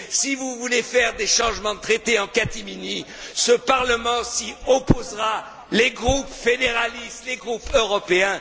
Si vous voulez faire des changements de traité en catimini, ce Parlement s'y opposera, tout comme les groupes fédéralistes et les groupes européens.